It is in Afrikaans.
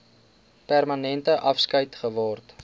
permanente afskeid geword